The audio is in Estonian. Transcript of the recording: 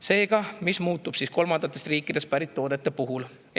Seega, mis kolmandatest riikidest pärit toodete puhul muutub?